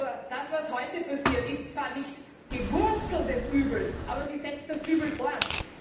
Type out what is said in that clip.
Nur das, was heute passiert, ist zwar nicht die Wurzel des Übels, aber es setzt das Übel fort!